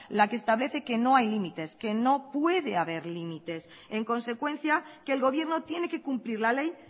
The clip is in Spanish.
la que establece que no hay límites que no puede haber límites en consecuencia que el gobierno tiene que cumplir la ley